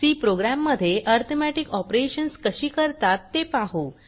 C program मध्ये arithmetic operations कशी करतात ते पाहू